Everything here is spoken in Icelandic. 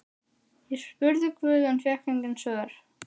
Ég spurði guð en fékk engin svör.